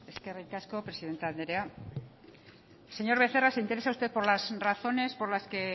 eskerrik asko presidente andrea señor becerra se interesa usted por las razones por las que